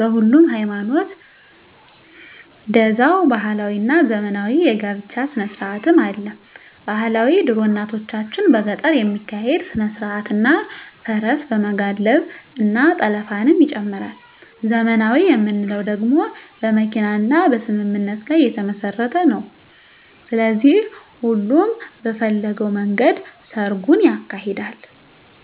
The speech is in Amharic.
በሁሉም ሀይማኖት ደዛዉ ባህላዊ እና ዘመናዊ የ ጋብቻ ስነስርአትም አለ ...ባህላዊ ድሮ እናቶቻችን በገጠር የሚካሄድ ስነስርአት እና ፈረስ በመጋለብ እና ጠለፍንም ይጨምራል .........ዘመናዊ የምንለዉ ደግሞ በመኪና እና በስምምነት ላይ የተመስረተ ነዉ ስለዚህ ሁሉም በፈለገዉ መንገድ ሰርጉን ያካሂዳል።